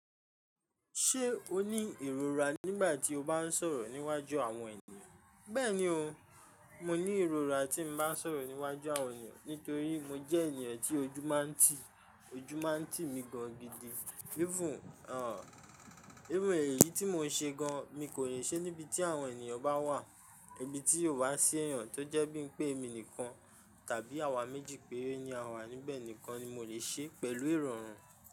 Ṣé o ní ìrora nígbà tí o bá ń sọ̀rọ̀ níwájú àwọn ènìyàn? Bẹ́ẹ̀ni o, mo ní ìrora tí mo bá ń sọ̀rọ̀ níwájú àwọn ènìyàn nítorí mo jẹ́ ènìyàn tí ojú máa ń tì, ojú máa ń tì mi gan gidi. Even, òun, èéyí tí mo ṣe gan, mi kò le ṣe níbi tí àwọn ènìyàn bá wà. Ibi tí ò bá sí ẹ̀yán tó jẹ́ bí i pé èmi nìkan tàbí àwa méjì péré ni àwa níbẹ̀ nìkan ni mo le ṣe pẹ̀lú ìrọ̀rùn.